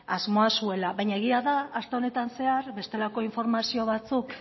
asmoa zuela baina egia da aste honetan zehar bestelako informazio batzuk